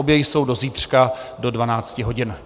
Obě jsou do zítřka do 12 hodin.